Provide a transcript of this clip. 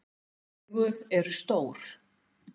Augu eru stór.